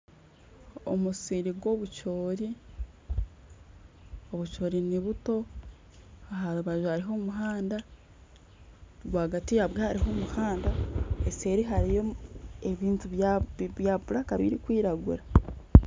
Omusiri gw'obucoori, obucoori ni buto aha rubaju hariho omuhanda, ahagati yaabo hariho omuhanda eseeri hariyo ebintu birikwiragura